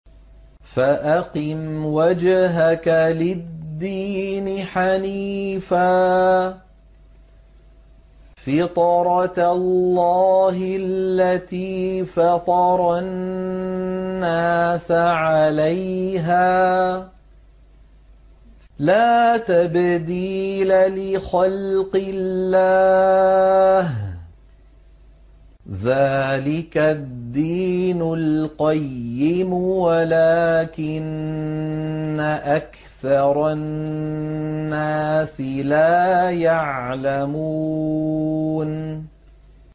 فَأَقِمْ وَجْهَكَ لِلدِّينِ حَنِيفًا ۚ فِطْرَتَ اللَّهِ الَّتِي فَطَرَ النَّاسَ عَلَيْهَا ۚ لَا تَبْدِيلَ لِخَلْقِ اللَّهِ ۚ ذَٰلِكَ الدِّينُ الْقَيِّمُ وَلَٰكِنَّ أَكْثَرَ النَّاسِ لَا يَعْلَمُونَ